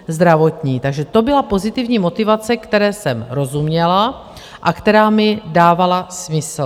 Takže to byla pozitivní motivace, které jsem rozuměla a která mi dávala smysl.